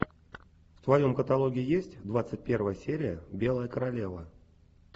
в твоем каталоге есть двадцать первая серия белая королева